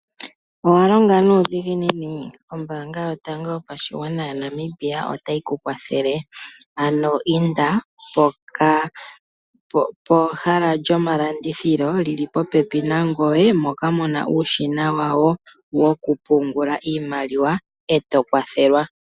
Owa longa nuudhiginini? Ombaanga yotango yopashigwana yaNamibia otayi ku kwathele ano inda pehala lyomalandithilo lyili popepi nangoye moka mu na uushina wawo wokupungula iimaliwa e to kwathelwa.